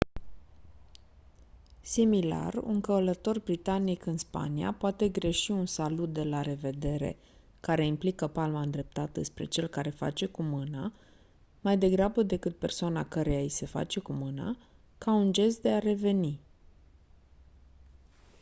similar un călător britanic în spania poate greși un salut de la revedere care implică palma îndreptată spre cel care face cu mâna mai degrabă decât persoana căreia i se face cu mâna ca un gest de a reveni